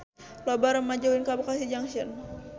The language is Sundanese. Loba rumaja ulin ka Bekasi Junction